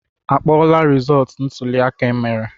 Akpọọla rizọọtụ ntụliaka emere?